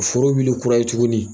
Foro wuli kura ye tugunni.